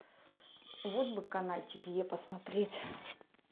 вот бы канальчик е посмотреть